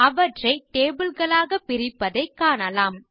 அவற்றை டேபிள் களாக பிரிப்பதைக் காணலாம்